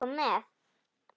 Má ég koma með?